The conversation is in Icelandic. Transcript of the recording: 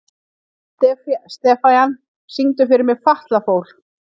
Estefan, syngdu fyrir mig „Fatlafól“.